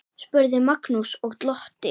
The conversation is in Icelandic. spurði Magnús og glotti.